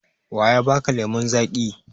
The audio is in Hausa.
Wa ya ba ka lemon zaƙi?